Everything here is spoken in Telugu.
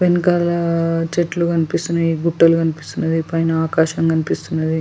వెనకాల చెట్లు కనిపిస్తున్నాయి గుట్టలు కనిపిస్తున్నాయి పైన ఆకాశం కనిపిస్తున్నది.